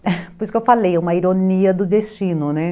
Por isso que eu falei, uma ironia do destino, né?